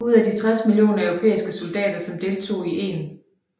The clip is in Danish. Ud af de 60 millioner europæiske soldater som deltog i 1